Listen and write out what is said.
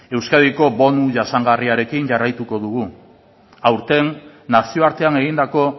euskadiko bonu jasangarriarekin jarraituko dugu aurten nazioartean egindako